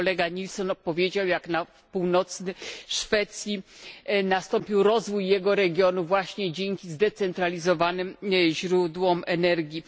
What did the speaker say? Tu kolega Nilssen opowiedział, jak na północy Szwecji nastąpił rozwój jego regionu właśnie dzięki zdecentralizowanym źródłom energii.